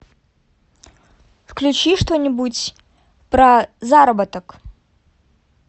включи что нибудь про заработок